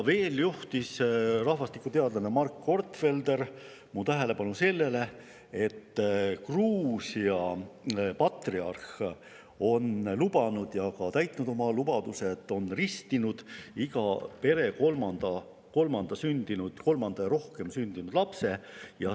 Veel juhtis rahvastikuteadlane Mark Gortfelder mu tähelepanu sellele, et Gruusia patriarh on andnud ühe lubaduse ja selle ka täitnud, nimelt on ta ristinud iga pere kolmandana ja järgmisena sündinud lapse.